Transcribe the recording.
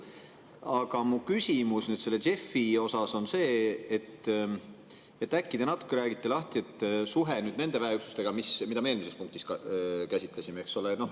Aga mu küsimus selle JEF‑i kohta on see, et äkki te natuke räägite lahti suhte nende väeüksustega, mida me eelmises punktis käsitlesime.